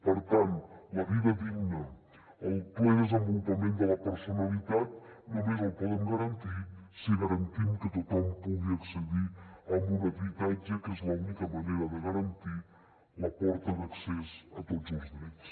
per tant la vida digna el ple desenvolupament de la personalitat només el podem garantir si garantim que tothom pugui accedir a un habitatge que és l’única manera de garantir la porta d’accés a tots els drets